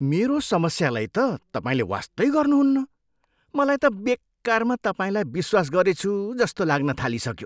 मेरो समस्यालाई त तपाईँले वास्तै गर्नुहुन्न। मलाई त बेकारमा तपाईँलाई विश्वास गरेछु जस्तो लाग्न थालिसक्यो!